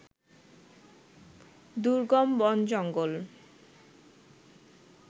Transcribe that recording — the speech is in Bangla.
দুর্গম বন-জঙ্গল